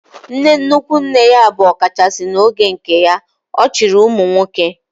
Nne nnukwu nne ya bụ ọkachasị n'oge nke ya, ọ chịrị ụmụnwoke